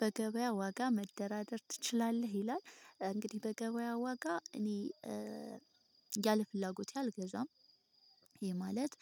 በገበያ ዋጋ መደራደር ትችላለህ ይላል? እንግዲህ በገበያ ዋጋ እኔ ያለ ፍላጎቴ አልገዛም ይሄ ማለት